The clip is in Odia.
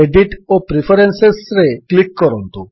ଏଡିଟ୍ ଓ ପ୍ରିଫରେନ୍ସେସ୍ ରେ କ୍ଲିକ୍ କରନ୍ତୁ